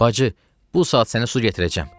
Bacı, bu saat sənə su gətirəcəm!